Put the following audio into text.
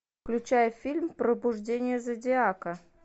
включай фильм пробуждение зодиака